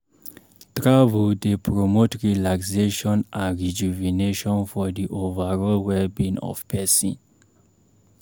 Travel dey promote relaxation and rejuvenation for the overall well-being of pesin